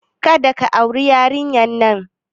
Kada ka auri yarinyar nan!